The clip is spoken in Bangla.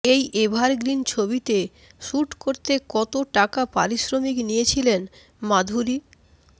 এই এভার গ্রিন ছবিতে শ্যুট করতে কত টাকা পারিশ্রমিক নিয়েছিলেন মাধুরী